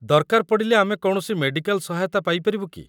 ଦରକାର ପଡ଼ିଲେ ଆମେ କୌଣସି ମେଡ଼ିକାଲ୍ ସହାୟତା ପାଇପାରିବୁ କି?